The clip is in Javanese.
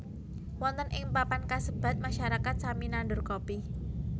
Wonten ing papan kasebat masyarakat sami nandur Kopi